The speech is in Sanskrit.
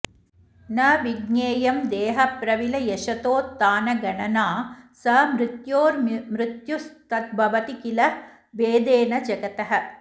न विज्ञेयं देहप्रविलयशतोत्थानगणना स मृत्योर्मृत्युस्तद्भवति किल भेदेन जगतः